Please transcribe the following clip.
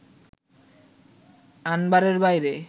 আনবারের বাইরে